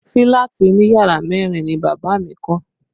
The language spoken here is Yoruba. Fílàtì òní yàrá mẹ́rin ni bàbá mi kọ́